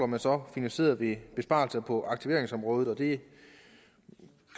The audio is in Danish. man så finansieret ved besparelser på aktiveringsområdet det